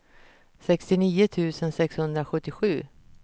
sextionio tusen sexhundrasjuttiosju